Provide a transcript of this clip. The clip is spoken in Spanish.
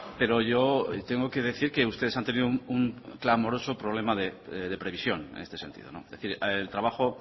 pero yo tengo que decir que ustedes han tenido un clamoroso problema de previsión en este sentido es decir el trabajo